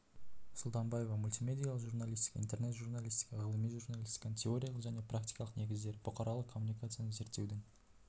сұлтанбаева мультимедиалық журналистика интернет журналистика ғылыми журналистиканың теориялық және практикалық негіздері бұқаралық коммуникацияны зерттеудің